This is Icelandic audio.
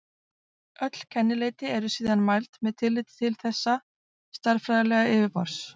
Öll kennileiti eru síðan mæld með tilliti til þessa stærðfræðilega yfirborðs.